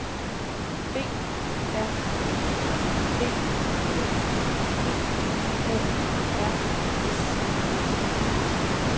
B R U D E P A R S